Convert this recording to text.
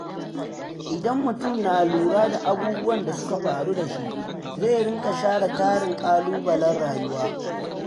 Idan mutum na lura da abubuwan da suka faru da shi, zai riƙa share tarin ƙalubalen rayuwa.